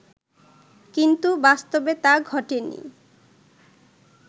কিন্তু বাস্তবে তা ঘটেনি